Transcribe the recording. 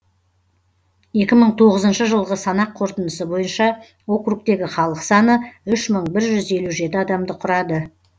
екі мың тоғызыншы жылғы санақ қорытындысы бойынша округтегі халық саны үш мың бір жүз елу жеті адамды құрады